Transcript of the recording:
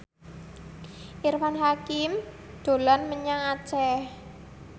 Irfan Hakim dolan menyang Aceh